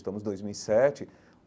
Estamos em dois mil e sete.